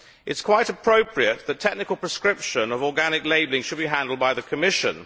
It is quite appropriate that technical prescription of organic labelling should be handled by the Commission.